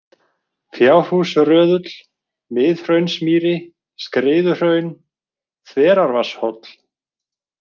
Fjárhúsröðull, Miðhraunsmýri, Skriðuhraun, Þverárvatnshóll